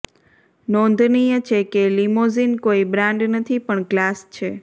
નોંધનીય છે કે લિમોઝિન કોઈ બ્રાન્ડ નથી પણ ક્લાસ છે